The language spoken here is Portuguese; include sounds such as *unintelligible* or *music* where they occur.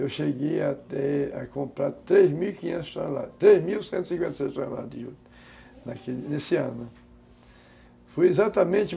Eu cheguei a comprar três mil e quinhentos toneladas, três mil e cento e cinquenta e seis toneladas de juta, *unintelligible* nesse ano. Foi exatamente